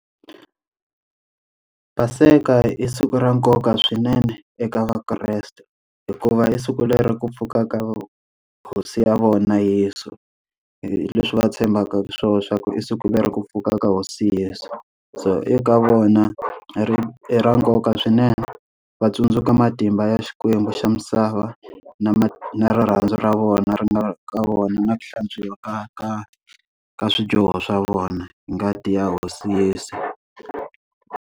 Paseka i siku ra nkoka swinene eka Vakreste, hikuva i siku leri ku pfukaka hosi ya vona Yeso. Hileswi va tshembaka swona swa ku i siku leri ku pfuka ka hosi Yeso. So eka vona ri i ra nkoka swinene, va tsundzuka matimba ya Xikwembu xa misava na ma na rirhandzu ra vona ri nga ka vona na ku hlantswiwa ka ka ka swidyoho swa vona hi ngati ya hosi Yeso.